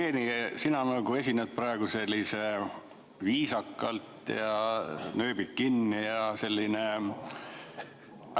Hea Jevgeni, sina esined praegu selliselt viisakalt, nööbid kinni ja nii edasi.